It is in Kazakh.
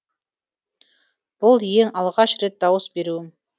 бұл ең алғаш рет дауыс беруім